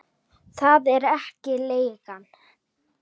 Það er ekki leigan.